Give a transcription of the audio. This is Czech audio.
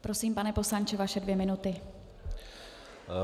Prosím, pane poslanče, vaše dvě minuty.